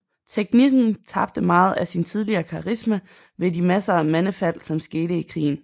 Teknikken tabte meget af sin tidligere karisma ved de masser af mandefald som skete i krigen